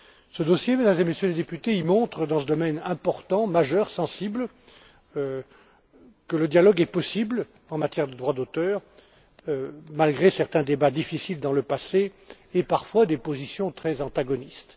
Ce dossier, Mesdames et Messieurs les députés, montre, dans ce domaine important, majeur et sensible, que le dialogue est possible en matière de droit d'auteur, malgré certains débats difficiles dans le passé et parfois des positions très antagonistes.